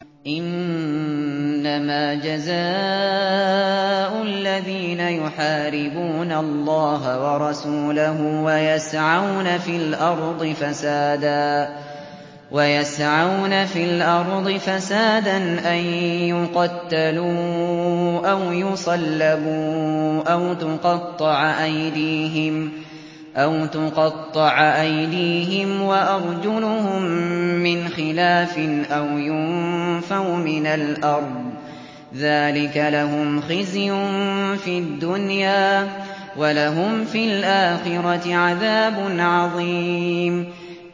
إِنَّمَا جَزَاءُ الَّذِينَ يُحَارِبُونَ اللَّهَ وَرَسُولَهُ وَيَسْعَوْنَ فِي الْأَرْضِ فَسَادًا أَن يُقَتَّلُوا أَوْ يُصَلَّبُوا أَوْ تُقَطَّعَ أَيْدِيهِمْ وَأَرْجُلُهُم مِّنْ خِلَافٍ أَوْ يُنفَوْا مِنَ الْأَرْضِ ۚ ذَٰلِكَ لَهُمْ خِزْيٌ فِي الدُّنْيَا ۖ وَلَهُمْ فِي الْآخِرَةِ عَذَابٌ عَظِيمٌ